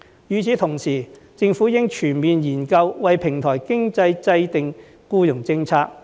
與此同時，政府應全面研究為平台經濟制訂僱傭政策。